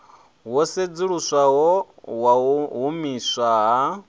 wo sedzuluswaho wau humiswa ha